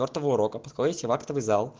после четвёртого урока подходите в актовый зал